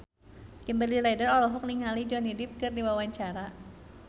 Kimberly Ryder olohok ningali Johnny Depp keur diwawancara